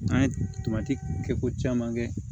N'an ye tomati kɛ ko caman kɛ